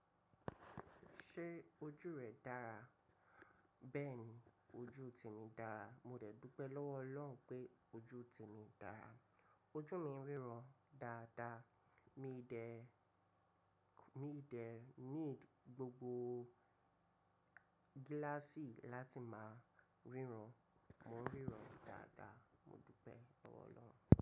Ṣé ojú rẹ dára? Bẹ́ẹ̀ni, ojú ti ń dára. Mo dẹ̀ dúpẹ́ lọ́wọ́ Ọlọ́run pé ojú ti ń dára. Ojú mi ríran dáadáa, mi ì dẹ̀ need gbogbo gíláàsì láti máa ríran. Mò n ríran dáadáa, mo dúpẹ́ lọ́wọ́ Ọlọ́run.